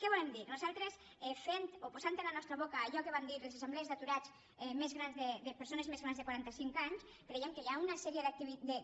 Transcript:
què volem dir nosaltres fent o posant a la nostra boca allò que van dir les assemblees d’aturats de persones més grans de quaranta cinc anys creiem que hi ha una sèrie